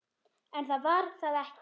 En það var það ekki.